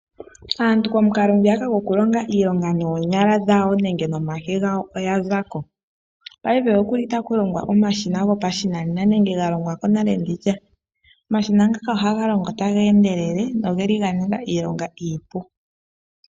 Aantu komukalo ngwiyaka gokulonga noonyala dhawo nenge nomake gawo oya za ko. Paife okuli taku longwa omashina gopashinanena nenge ga longwa ko nale. Omashina ngaka ohaga longo taga endelele, nogeli ga ninga iilonga iipu.